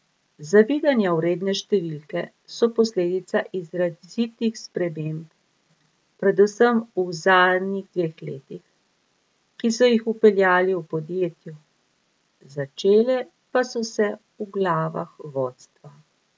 Zavidanja vredne številke so posledica izrazitih sprememb predvsem v zadnjih dveh letih, ki so jih vpeljali v podjetju, začele pa so se v glavah vodstva.